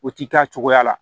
O ti taa cogoya la